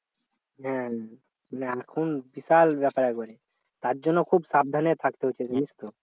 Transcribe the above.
হ্যাঁ মানে এখন বিশাল ব্যাপার একেবারে তার জন্য খুব সাবধানে থাকতে হবে জানিস তো